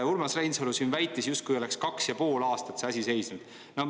Urmas Reinsalu siin väitis, justkui oleks kaks ja pool aastat see asi seisnud.